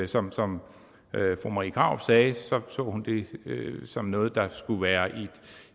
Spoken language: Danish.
som som fru marie krarup sagde så hun det som noget der skulle være